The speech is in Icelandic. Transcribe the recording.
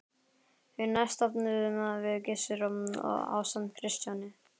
Því næst stofnuðum við Gissur ásamt Kristjáni